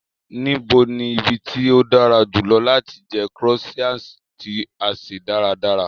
Nibo ni ibi ti o dara julọ lati jẹ croissant ti a se daradara?